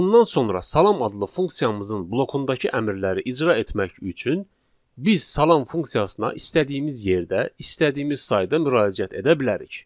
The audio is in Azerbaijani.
Bundan sonra salam adlı funksiyamızın blokundakı əmrləri icra etmək üçün biz salam funksiyasına istədiyimiz yerdə, istədiyimiz sayda müraciət edə bilərik.